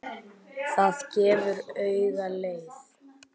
Það gefur auga leið.